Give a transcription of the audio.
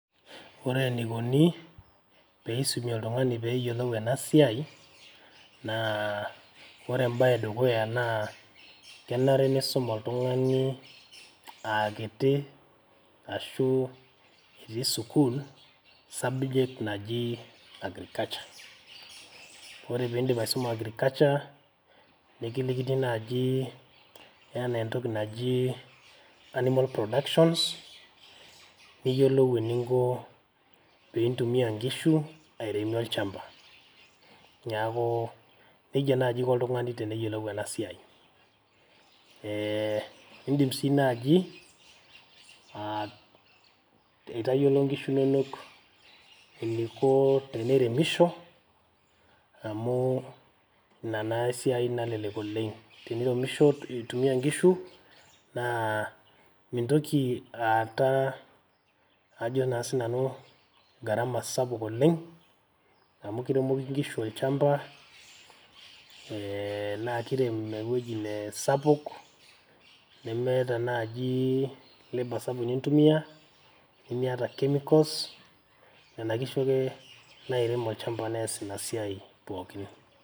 Ore enikoni pee isumi oltung`ani pee eyiolou ena siai naa, ore em`bae e dukuya naa kenare neisum oltung`ani aa kiti ashu etii sukuul subject naji agriculture. Ore pee idim aisuma agriculture nikilikini naaji enaa entoki naji animal production neyiolou eninko pee intumiya nkishu airemie olchamba. Niaku nejia naaji iko oltung`ani pee eyiolou ena siai. Idim sii naaji aitayiolo nkishu inonok eniko teneremisho amu ina naa esiai nalelek oleng. Teniremish intumiya nkishu naa mintoki naa aata ajo naa sinanu naa gharama sapuk oleng. Amu kiremoki nkishu olchamba ee naa kirem ewueji nee sapuk nemeeta naaji labour sapuk nintumiya, nimiata chemicals nena kishu ake nairem olchamba neas ina siai pookin.